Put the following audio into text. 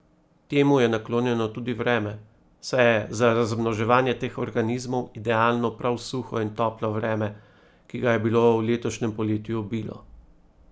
Temu je naklonjeno tudi vreme, saj je za razmnoževanje teh organizmov idealno prav suho in toplo vreme, ki ga je bilo v letošnjem poletju obilo.